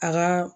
A ka